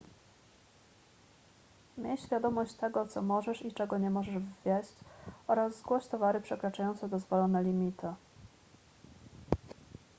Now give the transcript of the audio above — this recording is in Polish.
miej świadomość tego co możesz i czego nie możesz wwieźć oraz zgłoś towary przekraczające dozwolone limity